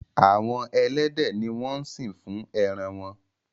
Àwọn elédè ní wón sín fún èràn wón.